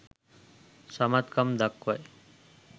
සමත් කම් දක්වයි.